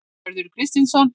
Hörður Kristinsson.